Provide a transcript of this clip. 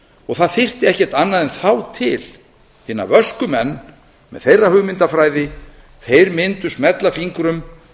og það þyrfti ekkert annað en þá til hina vösku menn með þeirra hugmyndafræði þeir mundu smella fingrum